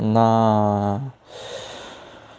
на